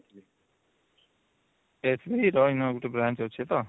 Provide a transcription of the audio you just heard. SBI ର ଇନ ଗୋଟେ branch ଅଛି ତ